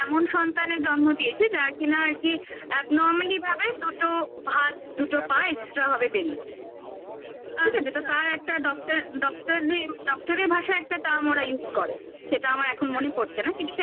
এমন সন্তানের জন্ম দিয়েছে যার কিনা আর কি normally ভাবে দুটো হাত দুটো পা extra হবে বেরিয়ে ঠিক আছে আচ্ছা তো তার একটা doctor যে doctor এর ভাষায় একটা term ওরা use করে সেটা আমার এখন মনে পড়ছে না কিন্তু সেটা